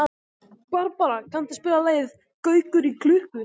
Barbara, kanntu að spila lagið „Gaukur í klukku“?